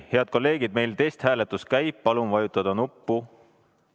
Head kolleegid, meil testhääletus käib, palun vajutada nuppu!